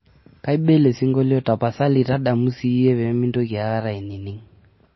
kaiba ele singolio tapasali tadamu siiyie pee maitoki aikata aining'